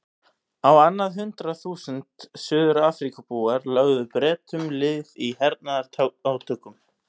Á annað hundrað þúsund Suður-Afríkubúar lögðu Bretum lið í hernaðarátökum.